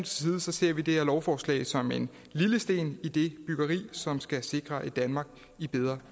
side ser vi det her lovforslag som en lille sten i det byggeri som skal sikre et danmark i bedre